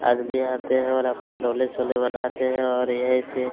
आदमी आते हैं और अपना डोले शोले बनाते हैं और यही से--